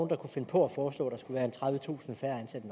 der kunne finde på at foreslå at der skulle være tredivetusind færre ansatte